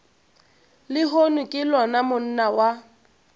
lehono ke lona monna wa